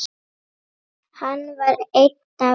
Hann var einn af okkur.